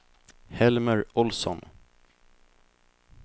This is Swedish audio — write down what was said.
Helmer Ohlsson